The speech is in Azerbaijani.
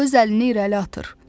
O öz əlini irəli atır.